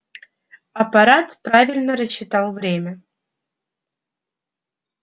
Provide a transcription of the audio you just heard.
апорат правильно рассчитал время